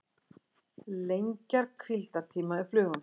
Lengja hvíldartíma flugumferðarstjóra